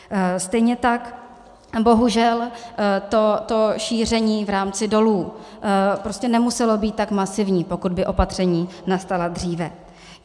Stejně tak bohužel to šíření v rámci dolů prostě nemuselo být tak masivní, pokud by opatření nastala dříve.